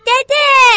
Dədə!